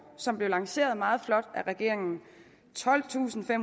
som blev lanceret meget flot af regeringen tolvtusinde